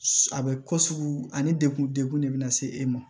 A bɛ ko sugu ani degun degun de bɛ na se e ma